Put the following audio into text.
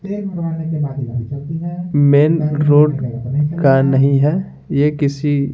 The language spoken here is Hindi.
मेन रोड का नहीं है यह किसी।